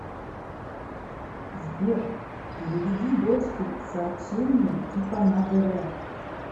сбер переведи дочке сообщение типа на др